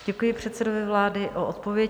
Děkuji předsedovi vlády za odpověď.